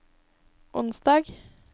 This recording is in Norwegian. onsdag